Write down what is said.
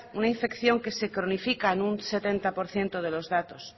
una infección que se cronifica en un setenta por ciento de los datos